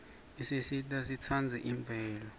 isisita sitsandze imvelo